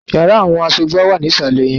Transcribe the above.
Yàrá àwọn asọ́gbà wà ní ìsàlẹ̀ yẹn